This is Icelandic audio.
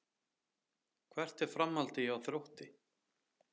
Hvert er framhaldið hjá Þrótti?